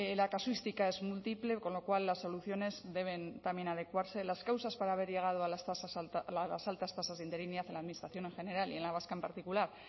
la casuística es múltiple con lo cual las soluciones deben también adecuarse las causas para haber llegado a las altas tasas de interinidad en la administración en general y en la vasca en particular